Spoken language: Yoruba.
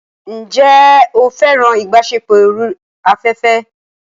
Ǹjẹ́ o fẹ́ràn ìbáṣepọ̀ orí afẹ́fẹ́?